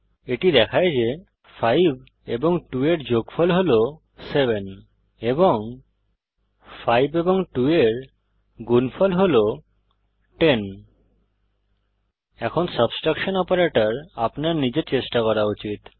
এটি দেখায় যে 5 এবং 2 এর যোগফল হল 700 এবং 5 এবং 2 এর গুনফল হল 1000 এখন সাবট্রেকশন অপারেটর আপনার নিজের চেষ্টা করা উচিত